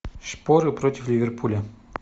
шпоры против ливерпуля